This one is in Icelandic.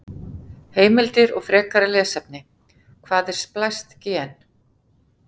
Heimildir og frekara lesefni: Hvað er splæst gen?